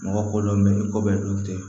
Mɔgɔ kolon be yen ko bɛɛ dun te